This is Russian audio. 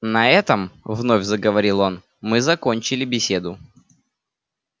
на этом вновь заговорил он мы закончили беседу